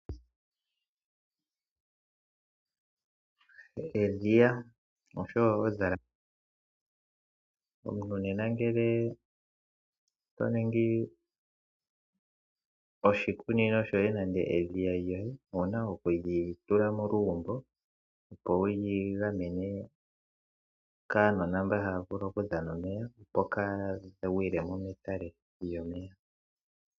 Edhiya oshowo odhalate omuntu nena ngele toningi oshikunino shoye nenge edhiya lyoye owuna okuli tula molugumbo opo wuli gamene kaanona mbaha vulu oku dhana omeya opo kaya gwile mo medhiya lyomeya.